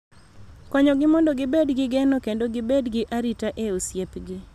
Konyogi mondo gibed gi geno kendo gibed gi arita e osiepgi.